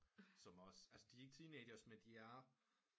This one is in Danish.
Som også de er ikke teenagers men de er